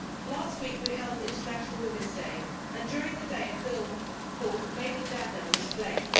Last week we held International Women's Day and during the day a film called Made in Dagenham' was played.